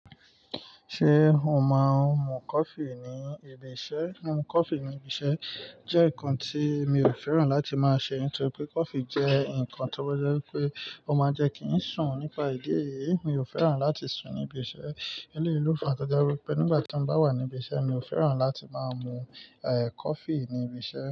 Ṣé o máa ń mu coffee ní ibi iṣẹ́? Mumu coffee ní ibi iṣẹ́ jẹ́ nǹkan tí mi ò fẹ́ràn láti máa ṣe, nítorí pé coffee jẹ́ nǹkan tó bá jẹ́ pé ó máa jẹ́ kí ń sùn. Nípa ìdí èyí, mi ò fẹ́ràn láti sùn ní ibi iṣẹ́. Elé l'ofa tó je wipé nígbà tí mo bá wà ní ibi iṣẹ́, mi ò fẹ́ràn láti máa mu coffee ní ibi iṣẹ́